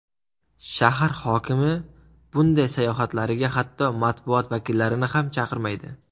Shahar hokimi bunday sayohatlariga hatto matbuot vakillarini ham chaqirmaydi.